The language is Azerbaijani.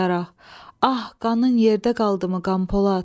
Ah, qanın yerdə qaldımı Qanpolad?